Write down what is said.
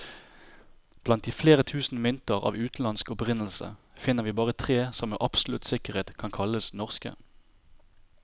Blant flere tusen mynter av utenlandsk opprinnelse, finner vi bare tre som med absolutt sikkerhet kan kalles norske.